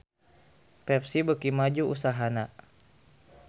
Pepsi beuki maju usahana